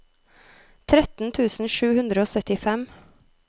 tretten tusen sju hundre og syttifem